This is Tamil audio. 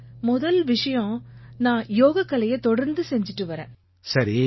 சார் முதல் விஷயம் நான் யோகக்கலையை தொடர்ந்து செய்திட்டு வர்றேன்